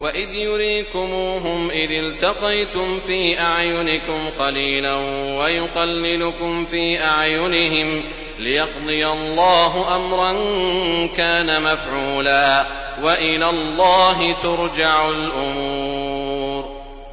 وَإِذْ يُرِيكُمُوهُمْ إِذِ الْتَقَيْتُمْ فِي أَعْيُنِكُمْ قَلِيلًا وَيُقَلِّلُكُمْ فِي أَعْيُنِهِمْ لِيَقْضِيَ اللَّهُ أَمْرًا كَانَ مَفْعُولًا ۗ وَإِلَى اللَّهِ تُرْجَعُ الْأُمُورُ